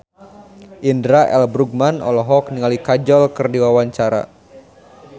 Indra L. Bruggman olohok ningali Kajol keur diwawancara